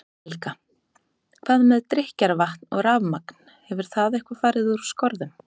Helga: Hvað með drykkjarvatn og rafmagn, hefur það eitthvað fari úr skorðum?